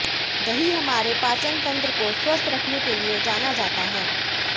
दही हमारे पाचन तंत्र को स्वस्थ रखने के लिए जाना जाता है